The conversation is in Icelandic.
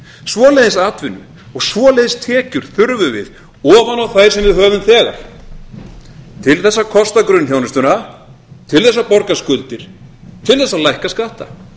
svoleiðis atvinnu og svoleiðis tekjur þurfum við ofan á þær sem við höfum þegar árið þess að kosta grunnþjónustuna til þess að borga skuldir til þess að lækka skatta